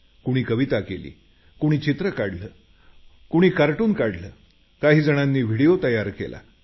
कुणी कविता केली कुणी चित्र काढलं कुणी कार्टून काढलं काही जणांनी व्हिडिओ तयार केला